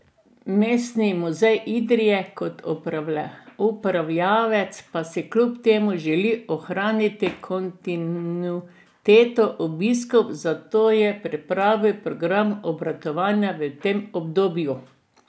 Mestni muzej Idrija kot upravljavec pa si kljub temu želi ohraniti kontinuiteto obiskov, zato je pripravil program obratovanja v tem obdobju.